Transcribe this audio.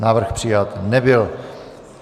Návrh přijat nebyl.